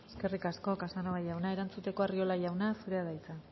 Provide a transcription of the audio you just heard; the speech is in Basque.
eskerrik asko casanova jauna erantzuteko arriola jauna zurea da hitza